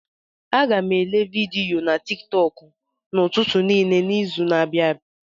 Aga m èlé vidiyo na tiktok n'ụtụtụ niile n'izu a na-abịa